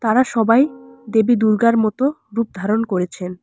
তারা সবাই দেবী দুর্গার মতো রূপ ধারণ করেছেন।